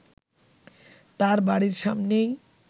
তার বাড়ির সামনেই